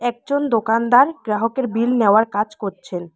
একজন দোকানদার গ্রাহকের বিল নেওয়ার কাজ করছেন।